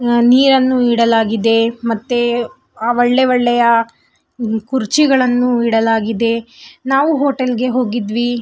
ನಿಯನ್ನು ಇಡಲಾಗಿದೆ ಮತ್ತು ಒಳ್ಳೆ ಒಳ್ಳೆಯ ಕುರ್ಚಿಗಳನ್ನೂ ಇಡಲಾಗಿದೆ ನಾವು ಹೋಟೆಲ್ಗೆ ಹೋಗಿದೀವಿ .